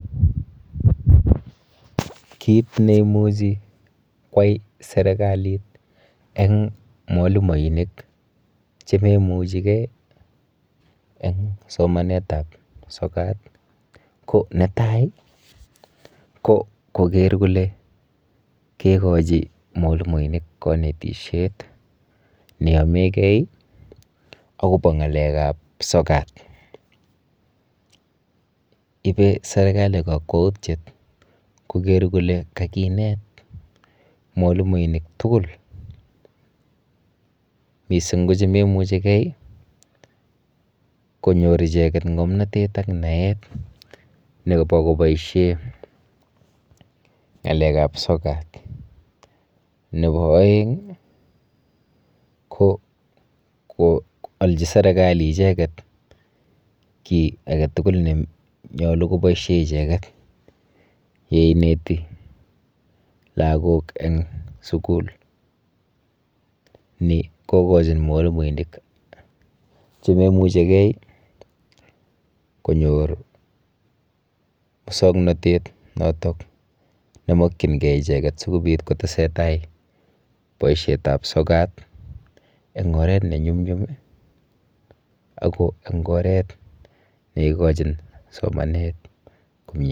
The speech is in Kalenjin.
Kit neimuchi kwai serikalit eng mwalimoinik chememuchigei eng somanetap sokat ko netai ko koker kole kekochi mwalimoinik kanetishet neyomegei akopo ng'alekap sokat. Ipe serikali kakwautyet koker kole kakinet mwalimoinik tugul mising ko chememuchigei konyor icheket ng'omnotet ak naet nepo koboishe ng'alekap sokat. Nepo oeng ko koalchi serikali icheket kiy aketugul nenyolu koboishe icheket yeineti lagok eng sukul. Ni kokochin mwalimoinik chememuchigei konyor musoknotet notok nemokchingei icheket sikobit kotesetai boishetap sokat eng oret nenyunyum ako eng oret neikochin somanet komyeit.